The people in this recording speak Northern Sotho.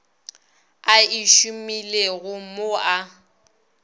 a e šomilego mo a